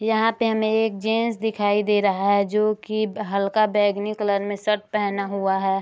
यहाँ पे हमें एक जेंट्स दिखाई दे रहा है जो की हल्का बैंगनी कलर में शर्ट पहना हुआ है।